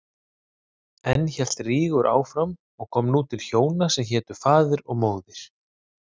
Enn hélt Rígur áfram og kom nú til hjóna sem hétu Faðir og Móðir.